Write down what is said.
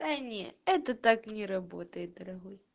да не это так не работает дорогой